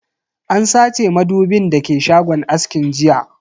An sace madubin da ke shagon askin jiya.